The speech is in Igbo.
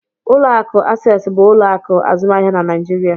Ụlọ akụ Access bụ ụlọ akụ azụmahịa na Naijiria.